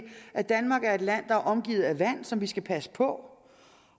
at danmark er et land der er omgivet af vand som vi skal passe på